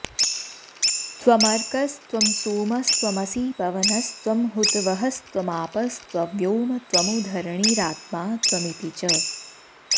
त्वमर्क्कस्त्वं सोमस्त्वमसि पवनस्त्वं हुतवहस्त्वमापस्त्वव्योम त्वमु धरणिरात्मा त्वमिति च